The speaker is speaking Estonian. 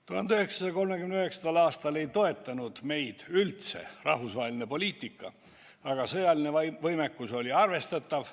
1939. aastal rahvusvaheline poliitika meid üldse ei toetanud, aga sõjaline võimekus oli arvestatav.